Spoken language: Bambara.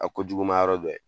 A ko juguma yɔrɔ dɔ ye